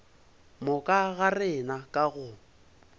moka ga rena ka go